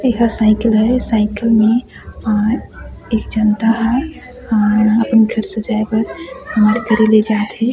एहा साईकिल हे साईकिल में अ एक जनता ह अम्म अपन घर सजाय बर ले जात हे।